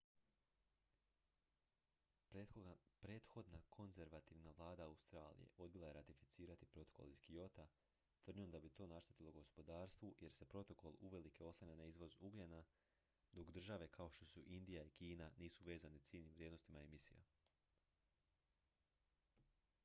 prethodna konzervativna vlada australije odbila je ratificirati protokol iz kyota tvrdnjom da bi to naštetilo gospodarstvu jer se protokol uvelike oslanja na izvoz ugljena dok države kao što su indija i kina nisu vezane ciljnim vrijednostima emisija